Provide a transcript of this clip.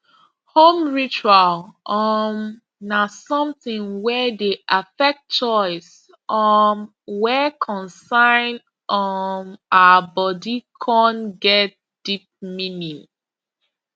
home ritual um na something wey dey affect choice um wey concern um our body con get deep meaning